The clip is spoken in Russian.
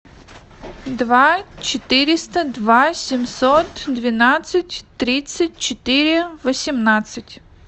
два четыреста два семьсот двенадцать тридцать четыре восемнадцать